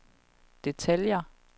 detaljer